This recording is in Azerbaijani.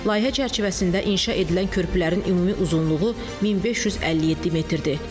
Layihə çərçivəsində inşa edilən körpülərin ümumi uzunluğu 1557 metrdir.